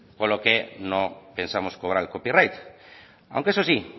con lo que no pensamos cobrar el copyright aunque eso sí